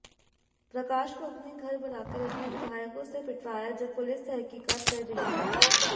प्रकाश को अपने घर बुलाकर अपने विधायकों से पिटवाया जब पुलिस तहकीकात कर रही है